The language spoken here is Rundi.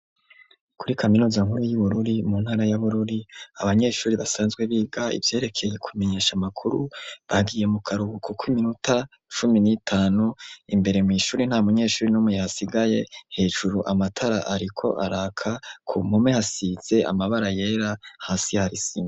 Kuri Kaminuza nkuru yi Bururi mu ntara ya Bururi abanyeshuri basanzwe biga ivyerekeye kumenyesha amakuru bagiye mu karuhuko kiminota cumi n'itanu imbere mw'ishuri nta munyeshuri numwe yahasigaye hejuru amatara ariko araka ku mpome hasize amabara yera hasi hari isima.